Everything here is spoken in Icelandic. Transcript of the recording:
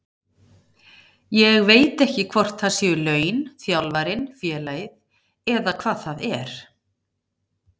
Ég veit ekki hvort það séu laun, þjálfarinn, félagið eða hvað það er.